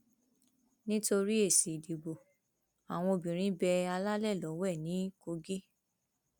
nítorí èsì ìdìbò àwọn obìnrin bẹ alálẹ lọwẹ ní kogi